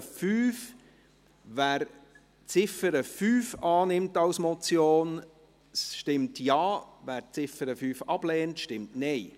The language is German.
Wer die Ziffer 5 als Motion annimmt, stimmt Ja, wer dies ablehnt, stimmt Nein.